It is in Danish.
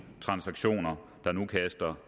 efter